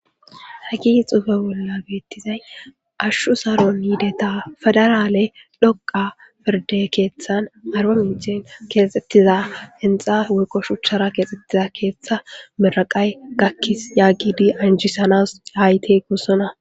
hagi xuufe bolla beettizay ashshu saron yiideta fedaraale dhoqa pirde keeththan arba mincen keexxettiza inxa woyqo shuchchara keexxettiza keeththa miraqay gakkis yaagidi anjisanas haayte gossona